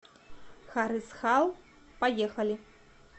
харысхал поехали